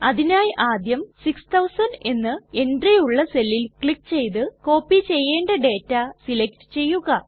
അതിനായി ആദ്യം 6000 എന്ന എൻട്രി ഉള്ള സെല്ലിൽ ക്ലിക് ചെയ്ത് കോപ്പി ചെയ്യേണ്ട ഡേറ്റ സെലക്ട് ചെയ്യുക